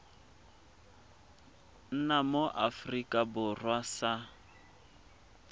nna mo aforika borwa sa